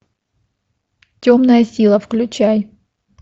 темная сила включай